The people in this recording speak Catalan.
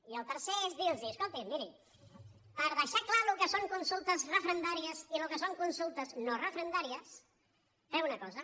i el tercer és dirlos escolti’m miri per deixar clar el que són consultes referendàries i el que són consultes no referendàries fem una cosa